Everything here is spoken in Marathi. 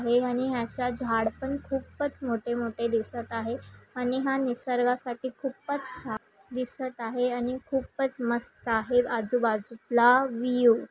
हे आणि हयाच्या झाड पण खुपच मोठे मोठे दिसत आहे आणि हा निसर्गासाठी खुपच छान दिसत आहे आणि खुपच मस्त आहे आजूबाजूला व्हिव .